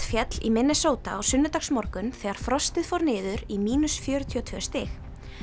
féll í Minnesota á sunnudagsmorgun þegar frostið fór niður í fjörutíu og tvö stig